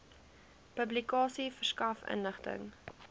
publikasie verskaf inligting